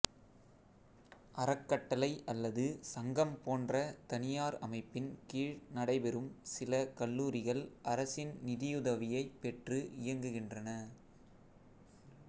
அறக்கட்டளை அல்லது சங்கம் போன்ற தனியார் அமைப்பின் கீழ் நடைபெறும் சில கல்லூரிகள் அரசின் நிதியுதவியைப் பெற்று இயங்குகின்றன